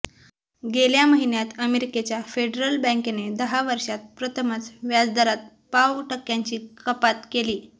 गेल्या महिन्यात अमेरिकेच्या फेडरल बँकेने दहा वर्षांत प्रथमच व्याजदरात पाव टक्क्यांची कपात केली